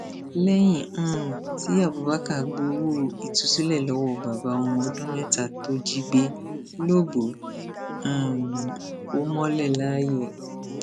lẹyìn um tí abubakar gbowó ìtúsílẹ lọwọ bàbá ọmọọdún mẹta tó jí gbé ló bò um ó mọlẹ láàyè